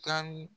Taa ni